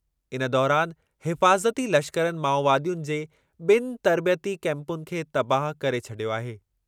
इन दौरानि हिफ़ाज़ती लश्करनि माओवादियुनि जे ॿिनि तर्बियती कैंपुनि खे तबाहु करे छॾियो आहे।